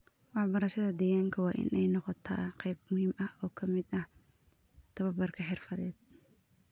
Waxbarashada deegaanka waa in ay noqotaa qayb muhiim ah oo ka mid ah tababarka xirfadeed.